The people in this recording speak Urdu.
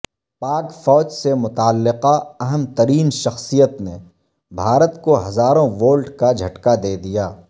پاک فوج سے متعلقہ اہم ترین شخصیت نے بھارت کو ہزاروں وولٹ کا جھٹکا دیدیا